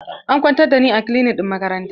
An kwantar da ni a kilinik ɗin makaranta.